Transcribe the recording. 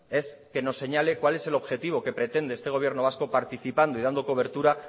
es que nos señale cuál es el objetivo que pretende este gobierno vasco participando y dando cobertura